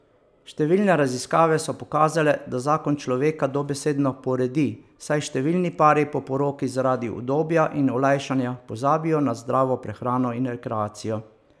Številne raziskave so pokazale, da zakon človeka dobesedno poredi, saj številni pari po poroki zaradi udobja in olajšanja pozabijo na zdravo prehrano in rekreacijo.